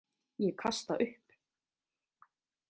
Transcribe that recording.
Ég kasta upp.